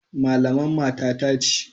Malaman matata ce.